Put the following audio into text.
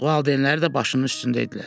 Valideynləri də başının üstündəydilər.